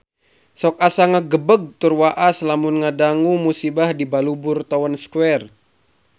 Sok asa ngagebeg tur waas lamun ngadangu musibah di Balubur Town Square